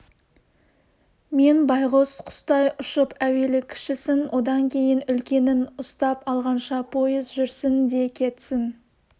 мен байғұс құстай ұшып әуелі кішісін одан кейін үлкенін ұстап алғанша пойыз жүрсін де кетсін